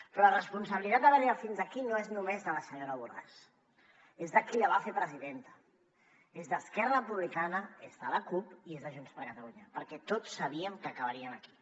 però la responsabilitat d’haver arribat fins aquí no és només de la senyora borràs és de qui la va fer presidenta és d’esquerra republicana és de la cup i és de junts per catalunya perquè tots sabíem que acabaríem aquí